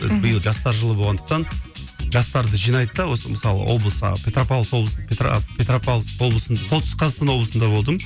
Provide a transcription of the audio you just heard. мхм биыл жастар жылы болғандықтан жастарды жинайды да осы мысалы облыс а петропавловск облыс петропавловск облысының солтүстік қазақстан облысында болдым